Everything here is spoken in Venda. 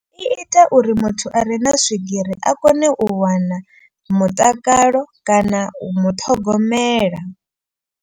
I ita uri muthu a re na swigiri a kone u wana mutakalo kana u muṱhogomela.